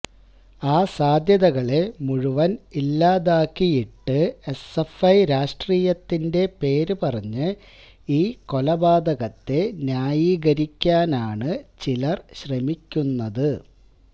ആ സാധ്യതകളെ മുഴുവന് ഇല്ലാതാക്കിയിട്ട് എസ്എഫ്ഐ രാഷ്ട്രീയത്തിന്റെ പേര് പറഞ്ഞ് ഈ കൊലപാതകത്തെ ന്യായീകരിക്കാനാണ് ചിലര് ശ്രമിക്കുന്നത്